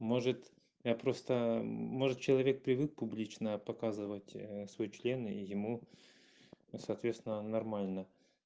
может я просто может человек привык публично показывать свой член и ему соответственно нормально